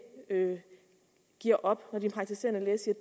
giver op når den praktiserende læge siger